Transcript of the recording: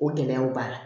O gɛlɛyaw b'a la